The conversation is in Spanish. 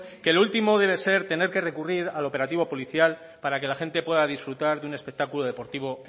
que lo último debe ser tener que recurrir al operativo policial para que la gente pueda disfrutar de un espectáculo deportivo